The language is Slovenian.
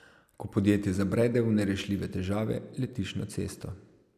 Ko podjetje zabrede v nerešljive težave, letiš na cesto.